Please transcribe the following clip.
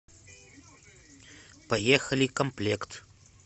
поехали комплект